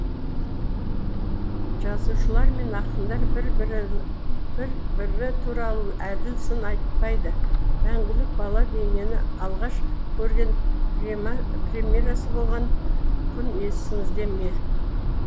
жазушылар мен ақындар бір бірі туралы әділ сын айтпайды мәңгілік бала бейнені алғаш көрген премьерасы болған күн есіңізде ме